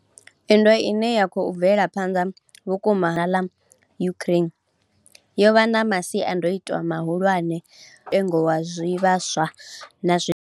Nndwa ine ya khou bvela phanḓa vhukati ha shango ḽa Russia na ḽa Ukraine yo vha na masiandaitwa mahulwane kha mutengo wa zwivhaswa na zwiḽiwa.